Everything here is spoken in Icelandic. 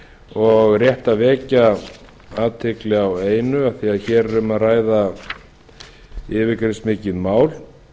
og rétt að vekja athygli á einu af því hér er um að ræða yfirgripsmikið mál